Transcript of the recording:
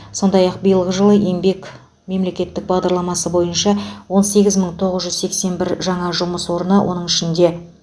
сондай ақ биылғы жылы еңбек мемлекеттік бағдарламасы бойынша он сегіз мың тоғыз жүз сексен бір жаңа жұмыс орны оның ішінде